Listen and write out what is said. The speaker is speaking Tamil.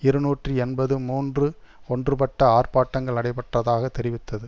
இருநூற்றி எண்பத்து மூன்று ஒன்றுபட்ட ஆர்ப்பாட்டங்கள் நடைபெற்றதாக தெரிவித்தது